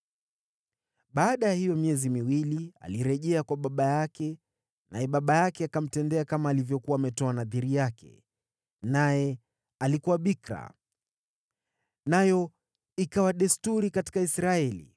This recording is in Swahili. Baada ya hiyo miezi miwili, alirejea kwa baba yake, naye baba yake akamtendea kama alivyokuwa ametoa nadhiri yake. Naye alikuwa bikira. Nayo ikawa desturi katika Israeli,